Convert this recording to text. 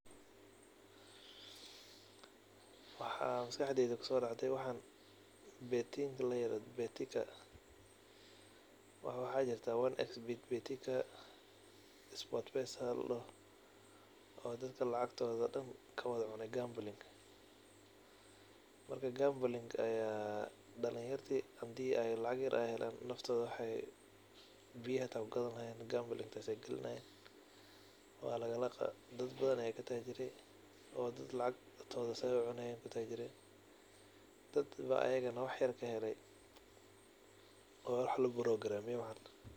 Waxa maskaxdeyda kusodscde waxa betika, betin iyo onexbet ladoho oo dadka lacagtoda daan kawada cune gambling marka hadi ey waxyar helan wexey ey biyo xita kugadani lahayen halka olakacayo oo dad badan aya katajire dadba iyaga wax yar kahele oo wa wax laborogramgareye wxan.